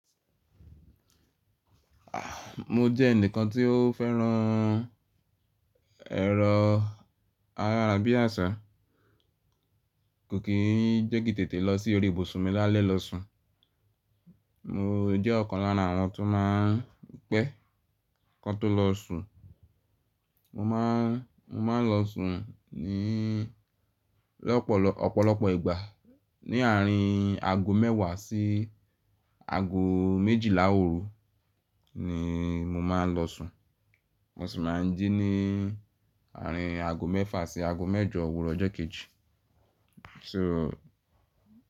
Ah, mo jẹ́ ẹnìkan tí ó fẹ́ràn ẹrọ ayára bí àṣá. Kò kì í jẹ́ki n tètè lọ sí orí ibùsùn mi lálẹ́ lọ sùn. Mo jẹ́ ọ̀kan lára àwọn tó má a ń pẹ́, kan tó lọ sùn. Mo má a, mo maá n lọ sùn ní lọ́pọ̀lọp, ọ̀pọ̀lọpọ̀ ìgbà ní àárín aago mẹ́wàá sí aago méjìlá òru ni mo máa n lọ sùn. Mo sì máa n jí ní àárín aago mẹ́fà sí aago mẹ́jọ òwúrọ̀ ọjọ́ kejì. So?